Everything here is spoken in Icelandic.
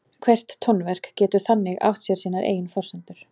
Hvert tónverk getur þannig átt sér sínar eigin forsendur.